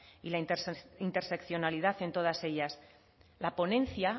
y la interseccionalidad en todas ellas la ponencia